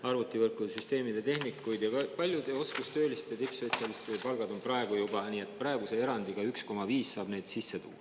Arvutivõrkude, süsteemide tehnikute ja paljude oskustööliste ja tippspetsialistide palgad on praegu juba, praeguse erandiga 1,5 saab neid sisse tuua.